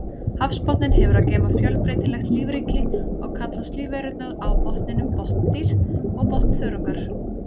Hafsbotninn hefur að geyma fjölbreytilegt lífríki og kallast lífverurnar á botninum botndýr og botnþörungar.